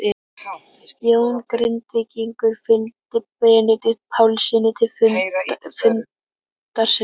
Jón Grindvíkingur fylgdi Benedikt Pálssyni til fundarins.